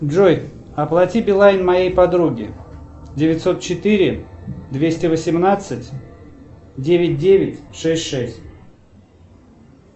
джой оплати билайн моей подруге девятьсот четыре двести восемнадцать девять девять шесть шесть